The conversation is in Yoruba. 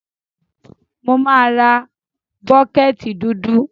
Mo má ra bucket dúdú